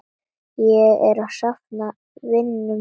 Ég er að safna vinum.